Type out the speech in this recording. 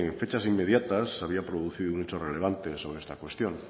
fechas inmediatas se había producido un hecho relevante sobre esta cuestión